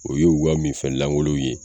O ye u ka minfɛn lankolon ye.